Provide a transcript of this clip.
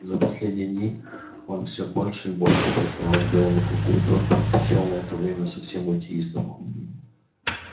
за последние дни он всё больше и больше приставал к белому клыку и тот предпочёл на это время совсем уйти из дому